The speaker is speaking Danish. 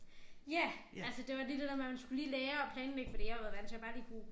Ja altså det var lige det der med man skulle lige lære at planlægge fordi jeg har været vant til jeg bare lige kunne